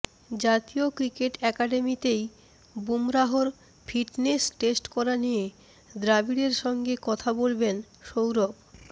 জাতীয় ক্রিকেট অ্যাকাডেমিতেই বুমরাহর ফিটনেস টেস্ট করা নিয়ে দ্রাবিড়ের সঙ্গে কথা বলবেন সৌরভ